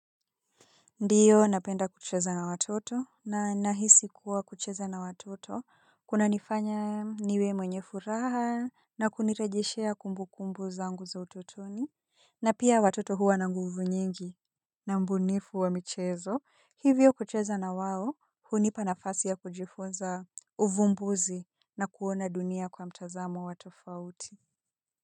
Ndiyo napenda kucheza na watoto na nahisi kuwa kucheza na watoto kuna nifanya niwe mwenye furaha na kunirejeshea kumbu kumbu zangu za utotoni na pia watoto huwa na nguvu nyingi na ubunifu wa michezo hivyo kucheza na wao hunipa nafasi ya kujifunza uvumbuzi na kuona dunia kwa mtazamo wa tofauti.